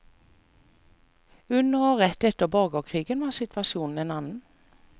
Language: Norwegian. Under og rett etter borgerkrigen var situasjonen en annen.